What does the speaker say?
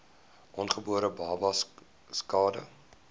ongebore babas skade